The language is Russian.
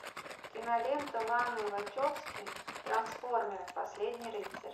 кинолента ланы вачовски трансформеры последний рыцарь